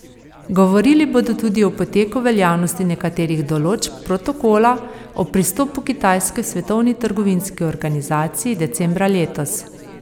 Govorili bodo tudi o poteku veljavnosti nekaterih določb protokola o pristopu Kitajske Svetovni trgovinski organizaciji decembra letos.